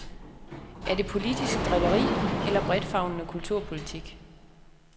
Er det politisk drilleri eller bredtfavnende kulturpolitik?